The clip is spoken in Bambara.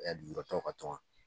lujuratɔw ka tɔn